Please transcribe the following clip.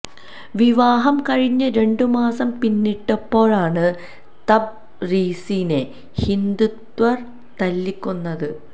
വിവാഹം കഴിഞ്ഞ് രണ്ടുമാസം പിന്നിട്ടപ്പോഴാണ് തബ് രീസിനെ ഹിന്ദുത്വര് തല്ലിക്കൊന്നത്